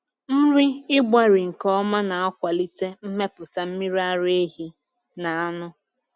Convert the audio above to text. Nri ịgbarị nke ọma na-akwalite mmepụta mmiri ara ehi na anụ.